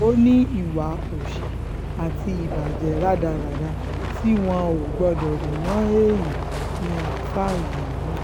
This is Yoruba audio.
ó ní ìwà òsì um àti ìbàjẹ́ rádaràda tí wọn ò gbọ́dọ̀ rí mọ́ èèyàn ni àáfáà yìí hù um